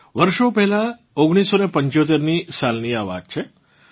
વર્ષો પહેલાં 1975 ની સાલની આ વાત છે